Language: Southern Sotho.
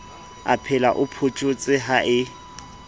aphela o photjhotse ha e